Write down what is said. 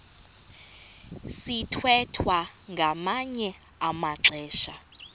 sithwethwa ngamanye amaxesha